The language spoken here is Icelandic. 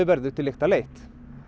verður til lykta leitt